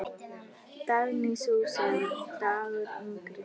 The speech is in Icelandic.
Dagný, sú sem dagur yngir.